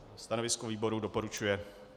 Stanovisko výboru - doporučuje.